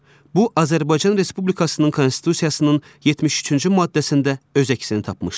Bu Azərbaycan Respublikasının Konstitusiyasının 73-cü maddəsində öz əksini tapmışdır.